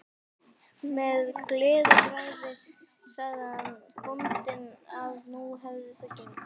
Með gleðibragði sagði bóndinn að nú hefði það gengið.